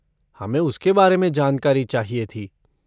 हमे उसके बारे में जानकारी चाहिए थी।